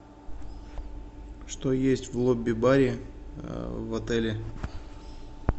что есть в лобби баре в отеле